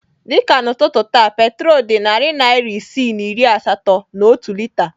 Dị ka n'ụtụtụ taa petrol dị narị naira isii na iri asatọ na otu lita.